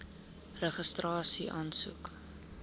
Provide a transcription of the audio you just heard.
registrasieaansoek